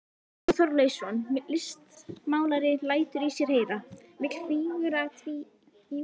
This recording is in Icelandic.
Jón Þorleifsson listmálari lætur í sér heyra, vill fígúratíva list.